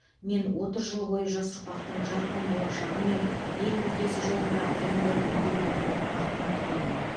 мен отыз жыл бойы жас ұрпақтың жарқын болашағы мен ел мүддесі жолында аянбай еңбек еткенімді мақтан тұтамын